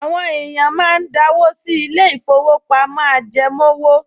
Àwọn èèyàn máa ń dáwó sí ilé-ìfowópamọ́ ajẹmówò